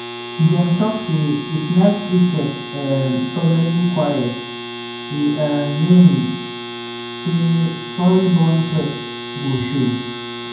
dem talk say if night crickets um suddenly quiet e um mean say soil-borne pests go show.